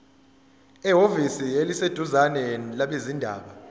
ehhovisi eliseduzane labezindaba